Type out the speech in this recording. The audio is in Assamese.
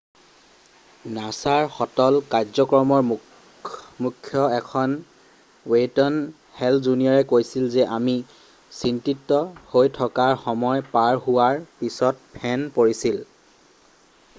nasaৰ সতল কাৰ্যক্ৰমৰ মুখ্য এন ৱেইন হেল জুনিয়ৰে কৈছিল যে আমি চিন্তিত হৈ থকাৰ সময় পাৰ হোৱাৰ পিছত ফেন পৰিছিল।